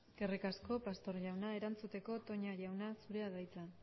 eskerrik asko pastor jauna erantzuteko toña jauna zurea da hitza